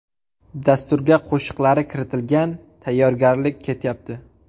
Dasturga qo‘shiqlari kiritilgan, tayyorgarlik ketyapti.